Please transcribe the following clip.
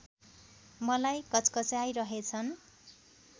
मलाई घच्घचाइरहेछन्